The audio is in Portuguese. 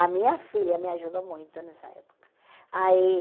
A minha filha me ajudou muito nessa época. Aí